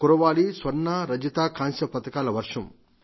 కురవాలి స్వర్ణ రజత కాంస్య పతకాల వర్షం